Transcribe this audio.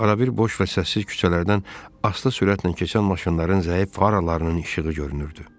Arada boş və səssiz küçələrdən asta sürətlə keçən maşınların zəif faralarının işığı görünürdü.